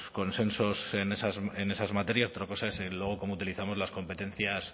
consensos en esas materias otra cosa es luego cómo utilizamos las competencias